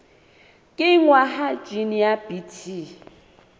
kenngwa ha jine ya bt